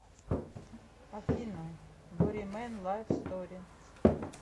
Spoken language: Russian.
афина боримэн лайф стори